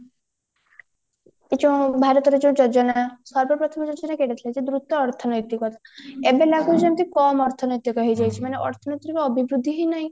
ଯୋଉଁ ଭାରତର ଯୋଉ ଯୋଜନା ସର୍ବ ପ୍ରଥମ ଯୋଜନା ଥିଲା ଦ୍ରୁତ ଅର୍ଥନୈତିକ ଏବେ ଲାଗୁଛି ଯେମିତି କମ ଅର୍ଥନୈତିକ ହେଇଯାଇଛି ମାନେ ଅର୍ଥନୈତିର ଅଭିବୃଦ୍ଧି ହିଁ ନାହିଁ